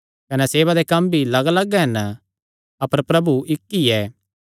कने सेवा दे कम्म भी लग्गलग्ग हन अपर प्रभु इक्क ई ऐ